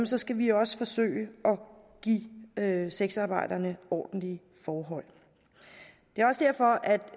så skal vi også forsøge at give sexarbejderne ordentlige forhold det er også derfor